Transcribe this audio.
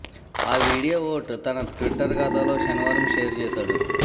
ఆ వీడియో ఓట్ తన ట్విట్టర్ ఖాతాలో శనివారం షేర్ చేశాడు